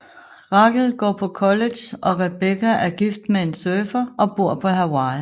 Rachel går på college og Rebecca er gift med en surfer og bor på Hawaii